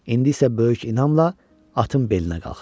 İndi isə böyük inanla atın belinə qalxır.